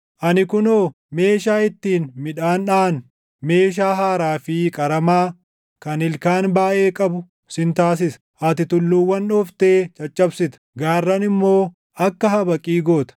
“Ani kunoo, meeshaa ittiin midhaan dhaʼan, meeshaa haaraa fi qaramaa kan ilkaan baayʼee qabu sin taasisa. Ati tulluuwwan dhooftee caccabsita; gaarran immoo akka habaqii goota.